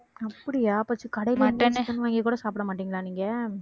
அப்படியா கடைல எங்கேயுமே chicken வாங்கி கூட சாப்பிடமாட்டீங்களா நீங்க